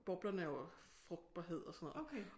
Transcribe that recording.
Boblerne er jo frugtbarhed og sådan noget